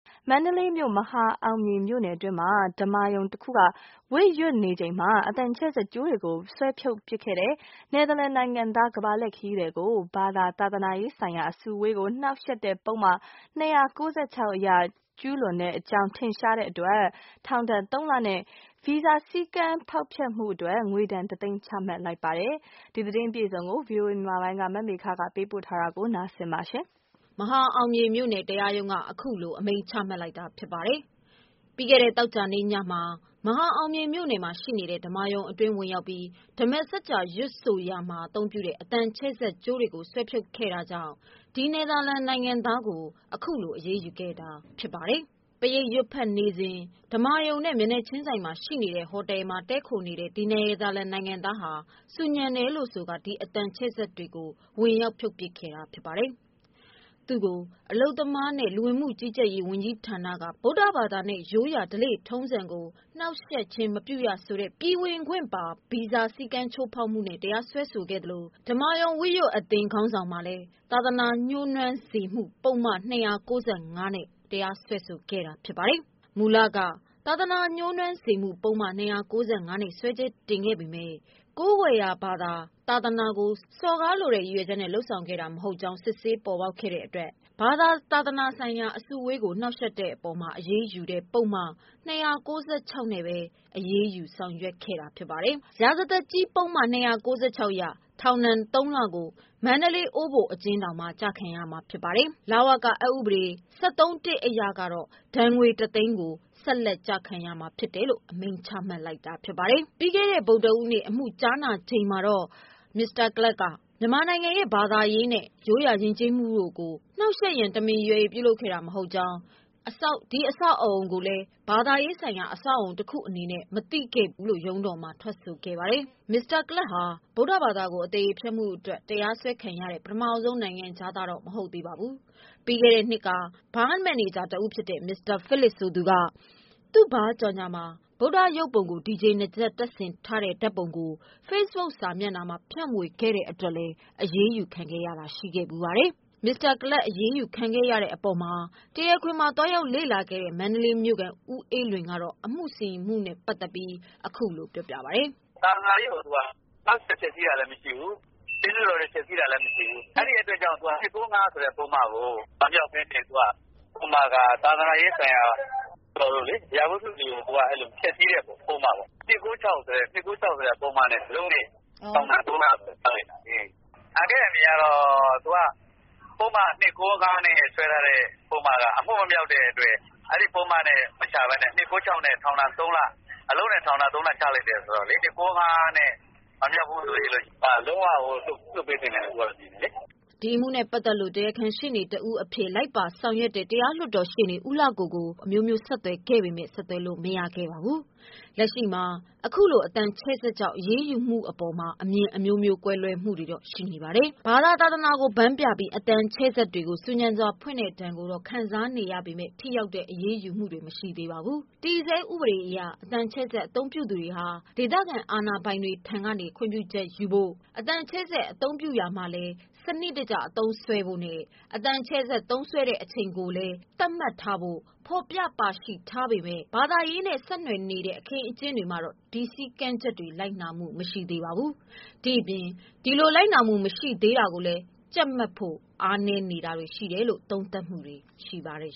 မန္တလေးမြို့ မဟာအောင်မြေမြို့နယ်အတွင်းရှိ ဓမ္မာရုံတခုမှ ဝတ်ရွတ်နေချိန်တွင် အသံချဲ့စက်ကြိုးများကို ဆွဲဖြုတ်ပစ်ခဲ့သည့် နယ်သာလန်နိုင်ငံသား ကမ္ဘာလှည့်ခရီးသည်ကို ဘာသာ၊သာသနာရေးဆိုင်ရာ အစုအဝေးကို နှောင့်ယှက်သည့် ပုဒ်မ ၂၉၆အရ ကျူးလွန်ကြောင်းထင်ရှားသဖြင့် ထောင်ဒ ဏ်၃လနှင့် ဗီဇာစည်းကမ်ဖောက်ဖျက်မှုအတွက် ငွေဒဏ်တစ်သိန်း ချမှတ်လိုက်ပါတယ်။ ဒီသတင်းကို ဗွီအိုအေမြန်မာပိုင်းက မေခကပေးပို့ထားတာပါ။ နယ်သာလန်နိုင်ငံသား Klaas Hijtema ကို မဟာအောင်မြေမြို့နယ် တရားရုံးက အခုလိုအမိန့်ချမှတ်လိုက်တာဖြစ်ပါတယ်။ ပြီးခဲ့တဲ့ သောကြာနေ့ညမှာ မဟာအောင်မြေမြို့နယ်ရှိ ဓမ္မာရုံအတွင်းဝင်ရောက် ပြီး ဓမ္မာစကြာရွတ်ဖတ်ရာတွင် အသံချဲ့စက်ကြိုးများကို ဆွဲဖြုတ်ခဲ့တာကြောင့် ဒီနယ်သာလန် နိုင်ငံသားကို အခုလိုအရေးယူခဲ့တာပါ။ပရိတ်ရွတ်ဖတ်နေစဉ် ဓမ္မာရုံနှင့် မျက်နှာချင်းဆိုင်ရှိ ဟိုတယ်တွင် တည်းခိုနေတဲ့ ဒီနယ်သာလန် နိုင်ငံသားသည် ဆူညံတယ်ဟုဆိုကာ အသံချဲ့စက်ကြိုးများကို ဝင်ရောက် ဖြုတ်ပစ်ခဲ့ပါတယ်။ သူ့ကို အလုပ်သမားနဲ့လူဝင်မှု ကြီးကြပ်ရေးဌာနက ဗုဒ္ဓဘာသာနှင့် ရိုးရာထုံးတမ်းဓလေ့ကို နှောင့်ယှက်သည်ဆိုကာ ပြည်ဝင်ခွင့် ဗီဇာစည်းကမ်းချိုးဖောက်မှုဖြင့် တရားစွဲဆိုထားသလို၊ ဓမ္မာရုံ ဝတ်ရွတ်အသင်းခေါင်းဆောင်မှလည်း သာသနာညိုးနွမ်းစေမှုပုဒ်မဖြင့် တရားစွဲဆိုခဲ့တာဖြစ်ပါတယ်။ မူလက သာသနာညှိုးနွမ်းစေမှု ပုဒ်မ ၂၉၅ နဲ့စွဲချက်တင်ခဲ့ပေမယ့် ကိုးကွယ်ရာ ဘာသာ၊ သာသနာကို စော်ကားလိုတဲ့ ရည်ရွယ်ချက်နဲ့ လုပ်ဆောင်တာ မဟုတ် တဲ့အတွက် ဘာသာ၊သာသနာရေးဆိုင်ရာ အစုအဝေးကို နှောင့်ယှက်တဲ့ အပေါ်မှာအရေးယူတဲ့ ပုဒ်မ ၂၉၆ နဲ့ပဲ အရေးယူထောင်ချလိုက်တာဖြစ်ပါတယ်။ ရာဇသတ်ကြီးပုဒ်မ အရ ထောင်ဒဏ် ၃ လကို မန္တလေး အိုးဘိုအကျဉ်းထောင်တွင် လည်းကောင်း၊ လဝက အက်ဥပဒေ ၁၃ အရ ဒဏ်ငွေ ၁ သိန်းကို လည်းကောင်း ကျခံရမည်ဟု အမိန့်ချမှတ်လိုက်တာပါ။ ပြီးခဲ့တဲ့ ဗုဒ္ဓဟူးနေ့ အမှုကြားနာချိန်တွင် Klaas Haytema က မြန်မာနိုင်ငံ၏ ဘာသာရေးနှင့် ရိုးရာယဉ်ကျေးမှုတို့ကို နှောင့်ယှက်ရန် တမင်ရည်ရွယ်၍ ပြုမူခဲ့ခြင်း မဟုတ်ကြောင်း၊ ဒီအဆောက်အအုံကို ဘာသာရေးအဆောက်အအုံဟုမသိခဲ့ကြောင်း၊ သူ့အပြုအမှုအတွက်အနှောင့်အယှက်များ ဖြစ်သွားရတဲ့ အပေါ် များစွာ စိတ်မကောင်းဖြစ်မိကြောင်း ရုံးတော်မှာထွက်ဆိုခဲ့ပါတယ်။ Klaas Haijtema သည် ဗုဒ္ဓဘာသာကို အသရေဖျက်မှုအတွက် တရားစွဲခံရသော ပထမဆုံး နိုင်ငံခြားသားမဟုတ်ပါဘူး။ ပြီးခဲ့သည့်နှစ်က နယူးဇီလန်နိုင်ငံ သား ဘားမန်နေဂျာ Philip Blackwood က သူ့ဘားကြေညာမှာ ဗုဒ္ဓ ရုပ်ပုံအား ဒီဂျေ နားကြပ်တပ်ဆင်ထားသည့် ဓာတ်ပုံကို ဖေ့ဘုတ်စာမျက်နှာတွင် ဖြန့်ဝေခဲ့ တဲ့အတွက် အရေးယူခံခဲ့ရတာလည်းရှိခဲ့ဖူးပါတယ်။ Klaas Haijtema အရေးယူခံရတဲ့အပေါ်မှာ တရားခွင်မှာ သွားရောက်လေ့ လာခဲ့တဲ့ မန္တလေးမြို့ခံ ဦးအေးလွင်ကတော့ အမှုစီရင်မှုနဲ့ပတ်သတ်ပြီးခုလို ပြောပြပါတယ်။ “သာသနာရေးကိုသူက နှောက်ယှက်ဖျက်ဆီးတာလည်းမရှိဘူး၊ ဆင်းတုတော်လည်း ဖျက်ဆီးတာမရှိဘူး ၊ ပုဒ်မ ၂၉၅ ကို မရောက်ပဲနဲ့ သူက သာသနာရေးဆိုင်ရာ အရာဝတ္ထုတွေကို သူက ဖျက်ဆီးတဲ့ ပုဒ်မပေါ့။ ၂၉၆ ဆိုတဲ့ ပုဒ်မ နဲ့ ထောင်ဒဏ် ၃ လ ချခဲ့ပါတယ်။ ပုဒ်မ ၂၉၅ နဲ့ စွဲထားတဲ့ ပုဒ်မက အမှုမမြောက်တဲ့အတွက် အဲဒီ ပုဒ်မနဲ့ မချပဲနဲ့ ၂၉၆ ဆိုတဲ့ ပုဒ်မ နဲ့ ထောင်ဒဏ် ၃ လ အလုပ်နဲ့ ချလိုက်တယ်ဆိုတော့လေ ပုဒ်မ ၂၉၅ နဲ့ မဟုတ်ဘူးဆိုရင် လုံးဝကို လွှတ်ပေးသင့်တယ်လို့မြင်တယ်လေ။” အမှုနဲ့ပတ်သတ်လို့ တရားခံရှေ့နေဖြစ်သူ တရားလွှတ်တော်ရှေ့နေ ဦးလှကို ကို ဆက်သွယ်ခဲ့ပေမယ့် ဆက်သွယ်လို့မရခဲ့ပါဘူး။ လက်ရှိမှာ အခုလို အသံချဲ့စက်ကြောင့် အရေးယူမှုအပေါ်မှာ အမြင်အမျိုးမျိုးကွဲလွဲနေတာတွေရှိပါတယ်။ ဘာသာသာသနာကိုဗန်းပြပြီး အသံချဲ့စက်တွေ ကိုဆူညံစွာဖွင့်တဲ့ဒဏ်တွေကို ခံစားနေရပေမယ့် ထိရောက်တဲ့ အရေးယူမှုတွေမရှိသေးပါဘူး။ တည်ဆဲဥပဒေအရ အသံချဲ့စက် အသုံးပြုသူ များသည် ဒေသခံအာဏာပိုင်ထံမှ ခွင့်ပြုချက်ရရှိရန် လိုအပ်သော်လည်း ဘာသာရေးနှင့် ဆက်နွယ်သော အခင်းအကျင်းများတွင် ထိုစည်းမျဉ်းစည်းကမ်း များကို လိုက်နာမှု မရှိသလို ဒီအပေါ်မှာ ကြပ်ဖို့လိုအပ်တယ်လို့ သုံးသပ်မှုတွေရှိနေကြပါတယ်